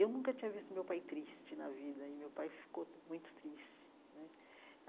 Eu nunca tinha visto meu pai triste na vida e meu pai ficou muito triste né.